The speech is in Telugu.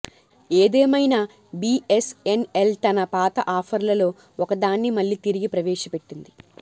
ఏదేమైనా బిఎస్ఎన్ఎల్ తన పాత ఆఫర్లలో ఒకదాన్ని మళ్ళీ తిరిగి ప్రవేశపెట్టింది